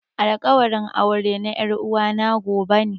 Alkawarin aure na er'uwa na gobe ne.